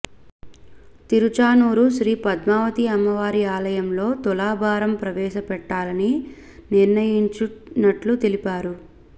తిరుచానూరు శ్రీ పద్మావతి అమ్మవారి ఆలయంలో తులాభారం ప్రవేశపెట్టాలని నిర్ణయించినట్లు తెలిపారు